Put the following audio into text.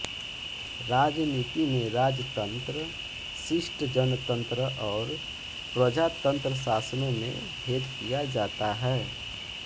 राजनीति में राजतंत्र शिष्टजनतंत्र और प्रजातंत्र शासनों में भेद किया जाता है